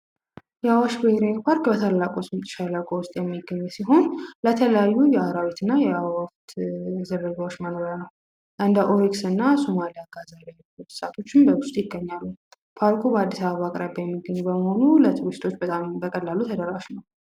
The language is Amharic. የአዋሽ ብሄራዊ ፓርክ በታላቁ ሽምጥ ሸለቆ ውስጥ የሚገኙ ሲሆን ለተለያዩ አራዊትና አእዋፋት ዝርያዎች መኖሪያ ነው። እንደ አይቤክስና አጋዘን ያሉ እንስሳቶችን በውስጡ ይገኛሉ። ፓርኩ ለአዲስ አበባ አቅራቢያ የሚገኘው በመሆኑ ለቱሪስቶች ተደራሽ ነው።